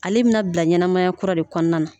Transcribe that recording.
Ale bina bila ɲɛnamaya kura de kɔɔna na.